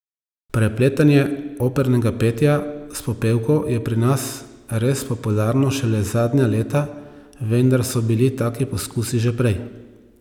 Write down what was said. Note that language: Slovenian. Prepletanje opernega petja s popevko je pri nas res popularno šele zadnja leta, vendar so bili taki poskusi že prej.